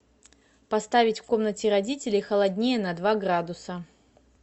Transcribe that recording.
поставить в комнате родителей холоднее на два градуса